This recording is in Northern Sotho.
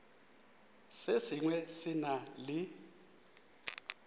se sengwe se na le